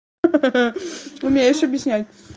ха-ха умеешь объяснять